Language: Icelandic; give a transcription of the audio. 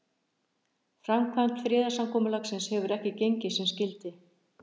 Framkvæmd friðarsamkomulagsins hefur ekki gengið sem skyldi.